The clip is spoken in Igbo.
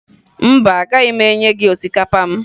Mba, agaghị m enye gị osikapa m